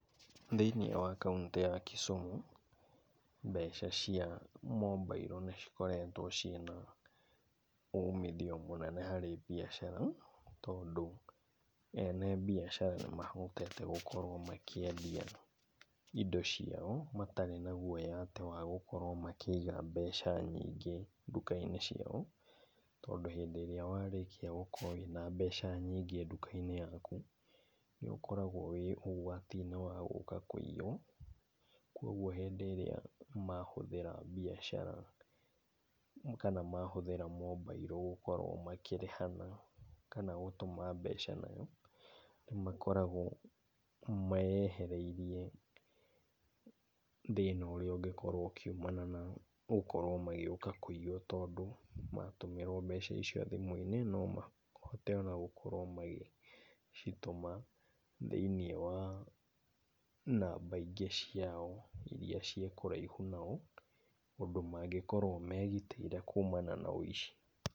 Thĩinĩ wa Kauntĩ ya Kisumu, mbeca cia mobailo nĩ cikoretwo ciĩna umithio mũnene harĩ biacara, tondũ ene biacara nĩ mahotete gũkorwo makĩendia indo ciao ,matarĩ na guoya atĩ wa gũkorwo makĩiga mbeca nyingĩ nduka-inĩ ciao. Tondũ hĩndĩ ĩrĩa warĩkia gũkorwo wĩna mbeca nyingĩ nduka-inĩ yaku, nĩ ũkoragwo wĩ ũũ atĩ no hagũũka kũiywo. Kwoguo hĩndĩ ĩrĩa mahũthĩra biacara kana mahũthĩra mobailo gũkorwo makĩrĩhana kana gũtũma mbeca nayo, nĩ makoragwo meyehereirie thĩna ũrĩa ũkoragwo ũkĩumana na gũkorwo magĩũka kũiywo, tondũ matũmĩrwo mbia icio thimũ-inĩ no mahote ona gũkorwo magĩcitũma thĩinĩ wa namba ingĩ ciao, irĩa ciĩ kũraihu nao, ũndũ mangĩkorwo megitĩire na ũici.